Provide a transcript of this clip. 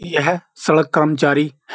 यह सड़क कर्मचारी --